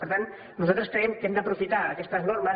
per tant nosaltres creiem que hem d’aprofitar aquestes normes